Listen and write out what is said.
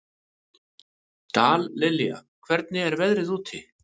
Dallilja, hvernig er veðrið úti?